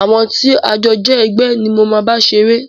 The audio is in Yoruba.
Àwọn tí a jọ jẹ́ ẹgbẹ́ ni mo máa bá ṣeré.